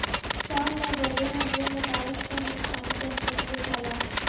شام میں ڈرون حملے میں داعش کا ہندوستانی دہشت گرد ہلاک